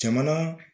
Jamana